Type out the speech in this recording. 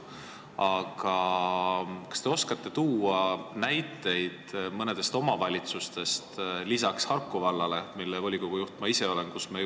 Aga kas te oskate tuua selle kohta näiteid mõnest omavalitsusest lisaks Harku vallale, mille volikogu juht ma ise olen?